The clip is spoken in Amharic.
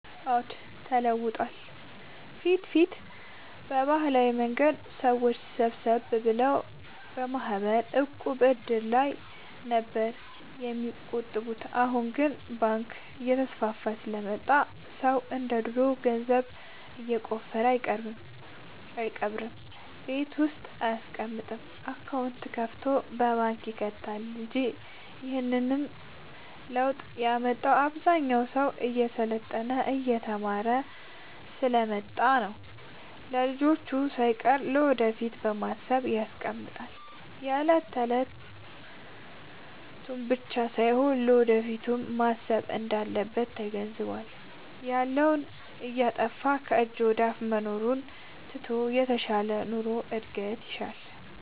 አዎድ ተለውጧል በፊት በፊት በባህላዊ መንገድ ሰዎች ሰብሰብ ብለው በማህበር፣ ዕቁብ፣ እድር ላይ ነበር የሚቆጥቡት አሁን ግን ባንክ እየተስፋፋ ስለመጣ ሰው እንደ ድሮ ገንዘቡን የቆፈረ አይቀብርም ቤት ውስጥ አይያስቀምጥም አካውንት ከፋቶ ባንክ ይከታል እንጂ ይህንንም ለውጥ ያመጣው አብዛኛው ሰው እየሰለጠነ የተማረ ስሐ ስለመጣ ነው። ለልጅቹ ሳይቀር ለወደፊት በማሰብ ያስቀምጣል የለት የለቱን ብቻ ሳይሆን ለወደፊቱም ማሰብ እንዳለበት ተገንዝቧል። ያለውን እያጠፋፋ ከጅ ወደአፋ መኖሩን ትቶ የተሻለ ኑሮ እድገት ይሻል።